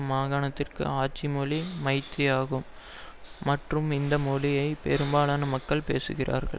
மாகாணத்தின் ஆட்சி மொழி மைத்தி ஆகும் மற்றும் இந்த மொழியை பெரும்பாலான மக்கள் பேசுகிறார்கள்